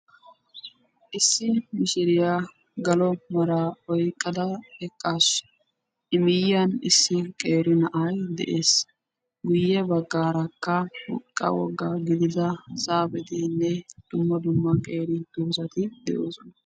Issi mishiriya galo maraa oyqqada eqqaasu. I miyyiyan issi qeeri na'ayi de'es. Miyye baggaarakka qa woggaa gidida zaafetinne dumma dumma qeeri doozati de'oosona.